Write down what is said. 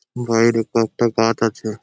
বাইরে কত গাছ আছে ।